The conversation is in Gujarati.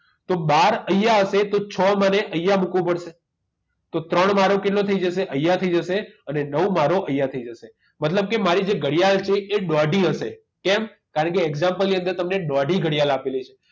તો બાર અહીંયા હશે તો છ મારે અહીંયા મૂકવો પડશે તો ત્રણ મારો કેટલો થઈ જશે અહીંયા થઈ જશે અને નવ મારો અહીંયા થઈ જશે મતલબ કે મારી જે ઘડિયાળ છે એ દોઢી હશે કેમ કારણકે example ની અંદર તમને દોઢી ઘડિયાળ આપેલી છે